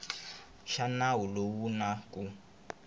xa nawu lowu na ku